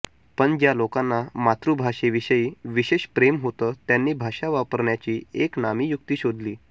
पण ज्या लोकांना मातृभाषेविषयी विशेष प्रेम होतं त्यांनी भाषा वापरण्याची एक नामी युक्ती शोधली